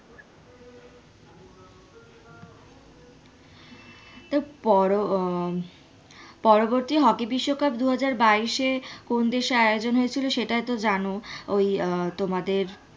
পর হম পরবর্তী হকি বিশ্বকাপ দুহাজার বাইশে কোন দেশে আয়োজন হয়েছিল তুমি তো জানো ওই আঃ তোমাদের,